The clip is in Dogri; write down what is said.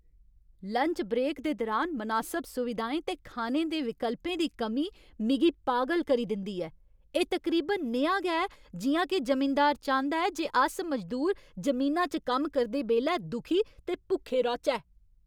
लंच ब्रेक दे दुरान मनासब सुविधाएं ते खाने दे विकल्पें दी कमी मिगी पागल करी दिंदी ऐ। एह् तकरीबन नेहा गै ऐ जि'यां के जमींदार चांह्दा ऐ जे अस मजदूर जमीना च कम्म करदे बेल्लै दुखी ते भुक्खे रौह्चै।